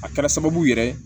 A kɛra sababu yɛrɛ ye